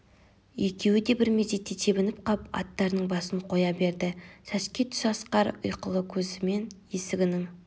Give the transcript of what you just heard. екеуі де бір мезетте тебініп қап аттарының басын қоя берді сәске түс асқар ұйқылы көзімен есігінің